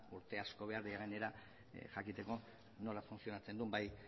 urte asko behar dira gainera jakiteko nola funtzionatzen duen bai